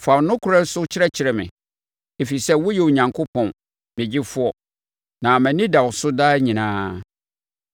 Fa wo nokorɛ no so kyerɛkyerɛ me, ɛfiri sɛ woyɛ Onyankopɔn, me Gyefoɔ, na mʼani da wo so daa nyinaa.